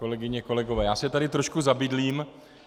Kolegyně, kolegové, já se tady trošku zabydlím.